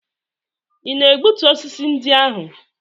Ị na-egbutu osisi ndị ahụ?